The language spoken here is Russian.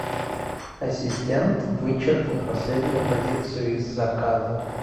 ассистент вычеркни последнюю позицию из заказа